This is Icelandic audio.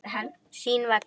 Sín vegna.